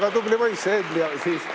Istungi lõpp kell 10.42.